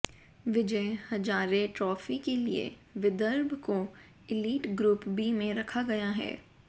विजय Hazare trophy के लिए विदर्भ को इलीट ग्रुप बी में रखा गया है